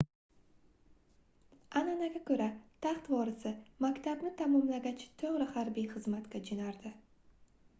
anʼanaga koʻra taxt vorisi maktabni tamomlagach toʻgʻri harbiy xizmatga joʻnardi